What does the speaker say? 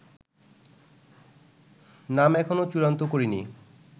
নাম এখনো চূড়ান্ত করিনি